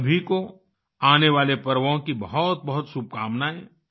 आप सभी को आने वाले पर्वों की बहुतबहुत शुभकामनाएं